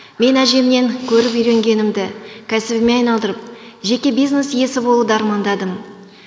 мен әжемнен көріп үйренгенімді кәсібіме айналдырып жеке бизнес иесі болуды армандадым